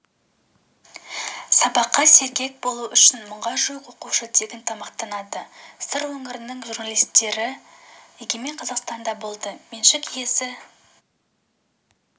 сабаққа сергекболу үшін мыңға жуық оқушы тегін тамақтанады сыр өңірінің журналистері егемен қазақстанда болды меншік иесі